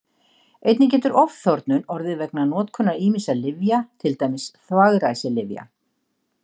Einnig getur ofþornun orðið vegna notkunar ýmissa lyfja, til dæmis þvagræsilyfja.